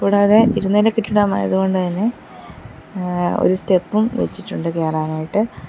കൂടാതെ ഇരുനില കെട്ടിടമായതു കൊണ്ട് തന്നെ മ്മ് ഒരു സ്റ്റെപ്പും വെച്ചിട്ടുണ്ട് കേറാൻ ആയിട്ട്.